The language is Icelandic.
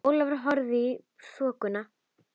Ólafur horfði í þokuna.